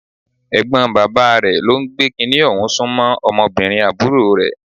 Ẹ̀gbọ́n bàbá rẹ̀ ló ń gbé kiní ọ̀hún sún mọ́ ọmọbìnrin àbúrò rẹ̀.